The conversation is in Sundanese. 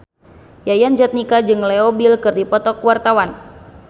Yayan Jatnika jeung Leo Bill keur dipoto ku wartawan